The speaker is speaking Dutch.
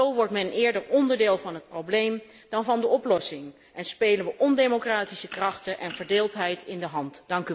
Zo wordt men eerder onderdeel van het probleem dan van de oplossing en spelen we ondemocratische krachten en verdeeldheid in de hand.